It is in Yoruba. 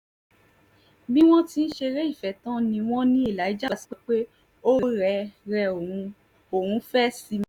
bí wọ́n ti ṣeré ìfẹ́ tán ni wọ́n ní elijah sọ pé ó rẹ rẹ òun òun fẹ́ẹ́ sinmi